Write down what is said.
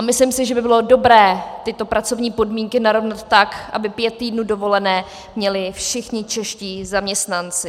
A myslím si, že by bylo dobré tyto pracovní podmínky narovnat tak, aby pět týdnů dovolené měli všichni čeští zaměstnanci.